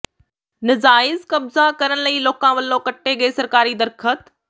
ਨਜਾਇਜ਼ ਕਬਜ਼ਾ ਕਰਨ ਲਈ ਲੋਕਾਂ ਵਲੋਂ ਕੱਟੇ ਗਏ ਸਰਕਾਰੀ ਦਰੱਖ਼ਤ